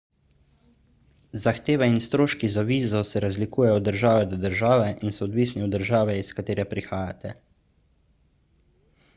zahteve in stroški za vizo se razlikujejo od države do države in so odvisni od države iz katere prihajate